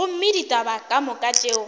gomme ditaba ka moka tšeo